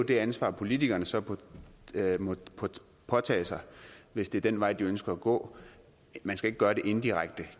det ansvar politikerne så må påtage sig hvis det er den vej de ønsker at gå man skal ikke gøre det indirekte